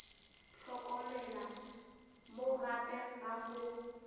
hlokomela mo gape ga go